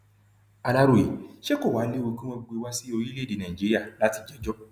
aláròyé ṣé kò wàá léwu kí wọn gbé e wá sí orílẹèdè nàíjíríà láti jẹjọ